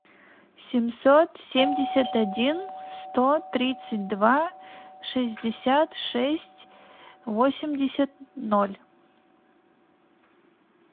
семьсот семьдесят один сто тридцать два шестьдесят шесть восемьдесят ноль